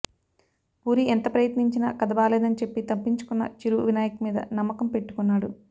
పూరి ఎంత ప్రయత్నించినా కథ బాలేదని చెప్పి తప్పించుకున్న చిరు వినాయక్ మీద నమ్మకం పెట్టుకున్నాడు